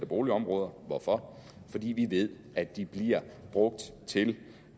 boligområder hvorfor fordi vi ved at de bliver brugt til